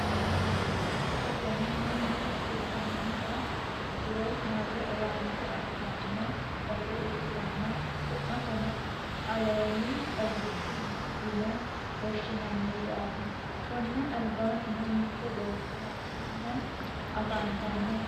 tenne basenni mannu xisamiha ikkiro mare owaante afi'ranno base ikkitanna, su'masino alemi xagichu mine yine woshshi'nanniwaati, konni albaannino mitte beetto hadhanni afantanno.